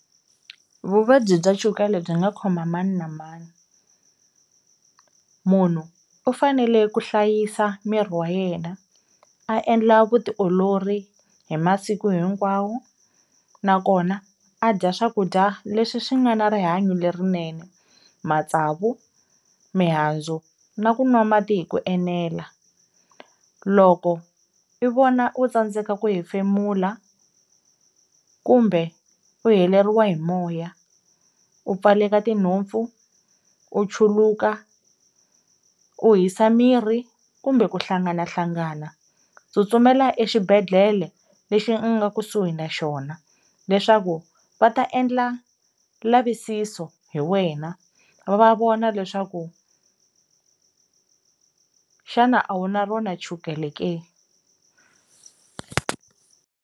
Vuvabyi bya chukele byi nga khoma mani na mani, munhu u fanele ku hlayisa miri wa yena a endla vutiolori hi masiku hinkwawo, nakona a dya swakudya leswi swi nga na rihanyo lerinene, matsavu, mihandzu, na ku nwa mati hi ku enela. Loko i vona u tsandzeka ku hefemula kumbe u heleriwa hi moya u pfaleka tinhompfu u chuluka u hisa miri kumbe ku hlanganahlangana tsutsumela exibedhlele lexi ingaku suhi na xona leswaku va ta endla lavisiso hi wena va vona leswaku xana a wu na rona chukele ke.